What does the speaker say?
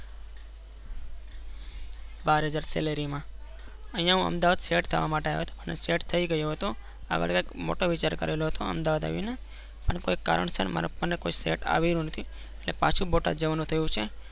બાર હાજર salary માંઅ અહી હું અમદાવાદ Set થવા માટે આવ્યો હતો અને set થઇ ગયો હતો હતો. આવેલો એટલે મોટો વિચાર કરેલો હતો અમદાવાદ આવાવી ને અને કોઈ કારણ સર set આવયું નથી.